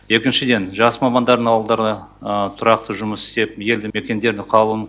екіншіден жас мамандардың ауылдарда тұрақты жұмыс істеп елді мекендерде қалуын